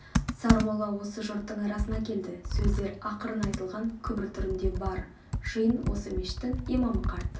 сармолла осы жұрттың арасына келді сөздер ақырын айтылған күбір түрінде бар жиын осы мешіттің имамы қарт